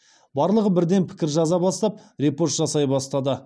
барлығы бірден пікір жаза бастап репост жасай бастады